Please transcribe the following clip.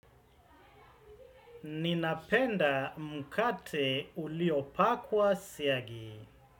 Ninapenda mkate uliopakwa siagi.